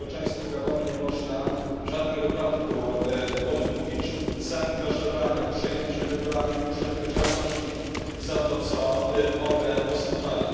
Społeczeństwu Gabonu nie można w żadnym wypadku odmówić zaangażowania, przejęcia wyborami, poczucia odpowiedzialności za to, co one oznaczają.